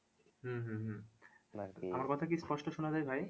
হম হম হম আমার কথা কি স্পষ্ট শোনা যায় ভাই?